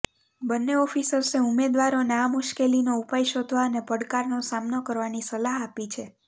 બન્ને ઓફિસર્સે ઉમેદવારોને આ મુશ્કેલીનો ઉપાય શોધવા અને પડકારનો સામનો કરવાની સલાહ આપી છે